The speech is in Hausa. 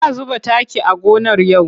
Za zuba taki a gonar Ya'u.